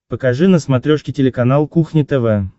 покажи на смотрешке телеканал кухня тв